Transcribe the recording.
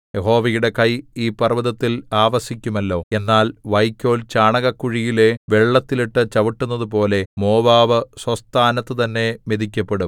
യഹോവയുടെ കൈ ഈ പർവ്വതത്തിൽ ആവസിക്കുമല്ലോ എന്നാൽ വൈക്കോൽ ചാണകക്കുഴിയിലെ വെള്ളത്തിൽ ഇട്ടു ചവിട്ടുന്നതുപോലെ മോവാബ് സ്വസ്ഥാനത്തുതന്നെ മെതിക്കപ്പെടും